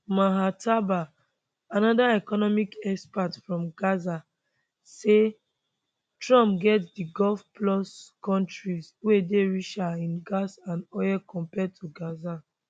maher tabaa anoda economic expert from gaza say trump get di gulf plus kontris wey dey richer in gas and oil compared to gaza